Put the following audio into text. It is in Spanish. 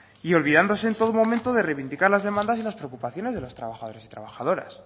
y olvidándose en todo momento de reivindicar las demandas y las preocupaciones de las trabajadores y trabajadoras